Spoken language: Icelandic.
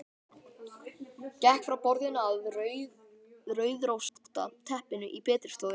Gekk frá borðinu að rauðrósótta teppinu í betri stofunni.